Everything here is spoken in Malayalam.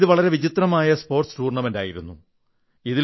ഇത് വളരെ വിചിത്രമായ സ്പോർട്സ് ടൂർണമെന്റ് ആയിരുന്നു